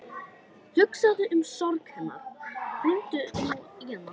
Hugsaðu um sorg hennar, hringdu nú í hana.